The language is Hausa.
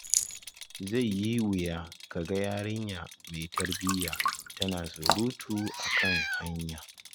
Zai yi wuya kaga yarinya mai tarbiya tana surutu akan hanya.